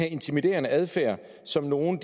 intimiderende adfærd som nogle